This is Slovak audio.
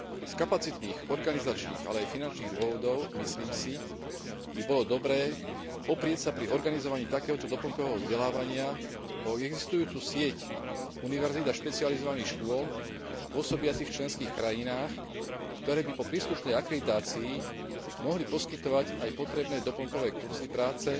Z kapacitných, organizačných, ale aj finančných dôvodov, myslím si, by bolo dobré oprieť sa pri organizovaní takéhoto doplnkového vzdelávania o existujúcu sieť univerzít a špecializovaných škôl pôsobiacich v členských krajinách, ktoré by po príslušnej akreditácii mohli poskytovať aj potrebné doplnkové kurzy práce